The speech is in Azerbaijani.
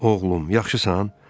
Oğlum, yaxşısan?